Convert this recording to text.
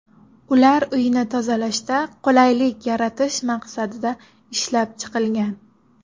Ular uyni tozalashda qulaylik yaratish maqsadida ishlab chiqilgan.